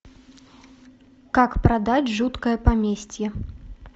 как продать жуткое поместье